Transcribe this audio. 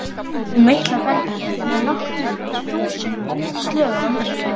Hún meitlar bergið með nokkur þúsund slögum á mínútu.